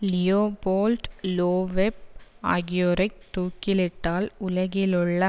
Leopold Loeb ஆகியோரைத் தூக்கிலிட்டால் உலகிலுள்ள